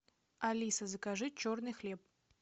алиса закажи черный хлеб